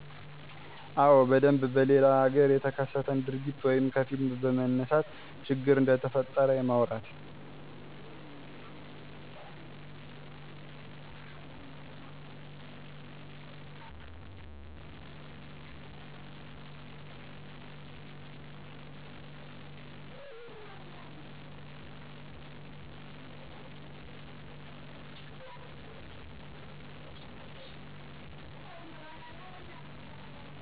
አዎ በደንብ በሌለላ ሀገር የተከሰተን ድርጊት ወይም ከፊልም በማንሳት ችግር እንደተፈጠረ የማውራት